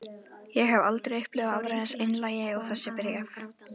Ég hef aldrei upplifað aðra eins einlægni og þessi bréf.